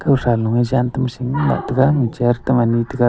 khawsa loe jantam singlah taiga chair Tam ani taiga.